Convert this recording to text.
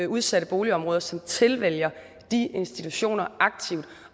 udsatte boligområder som tilvælger de institutioner aktivt